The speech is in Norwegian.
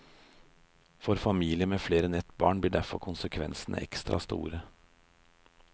For familier med flere enn ett barn blir derfor konsekvensene ekstra store.